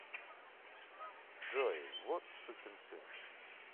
джой вот сукин сын